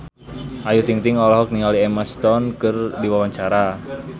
Ayu Ting-ting olohok ningali Emma Stone keur diwawancara